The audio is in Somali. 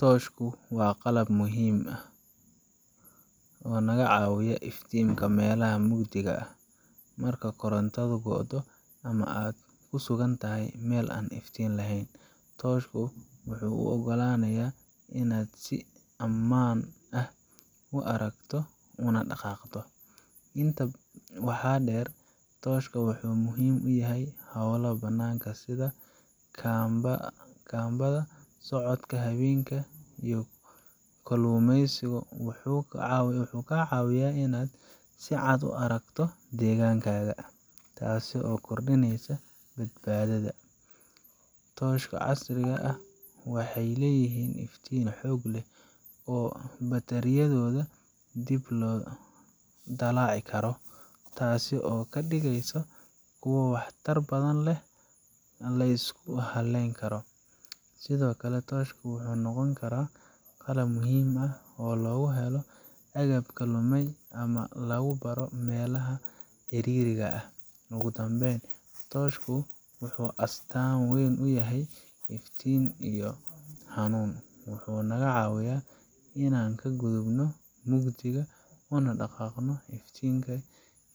Tooshku waa qalab muhiim ah oo naga caawiya iftiiminta meelaha mugdiga ah. Marka korontadu go'do ama aad ku sugan tahay meel aan iftiin lahayn, tooshku wuxuu kuu oggolaanayaa inaad si ammaan ah u aragto una dhaqaaqdo. Intaa waxaa dheer, tooshka wuxuu muhiim u yahay hawlaha bannaanka sida kaambada, socodka habeenkii, iyo kalluumeysiga. Wuxuu kaa caawinayaa inaad si cad u aragto deegaankaaga, taasoo kordhinaysa badbaadadaada. Tooshyada casriga ah waxay leeyihiin iftiin xoog leh oo batariyadooda dib loo dallaci karo, taasoo ka dhigaysa kuwo waxtar badan oo la isku halleyn karo. Sidoo kale, tooshka wuxuu noqon karaa qalab muhiim ah oo lagu helo agabka lumay ama lagu baaro meelaha ciriiriga ah. Ugu dambeyn, tooshku wuxuu astaan u yahay iftiin iyo hanuun. Wuxuu naga caawiyaa inaan ka gudubno mugdiga, una dhaqaaqno iftiin